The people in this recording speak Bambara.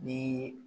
Ni